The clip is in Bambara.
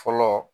Fɔlɔ